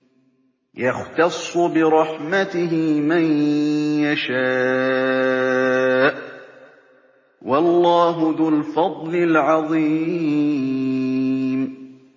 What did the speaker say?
يَخْتَصُّ بِرَحْمَتِهِ مَن يَشَاءُ ۗ وَاللَّهُ ذُو الْفَضْلِ الْعَظِيمِ